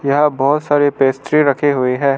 यहा बहोत सारे पेस्ट्री रखे हुए है।